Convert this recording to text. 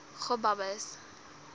gobabis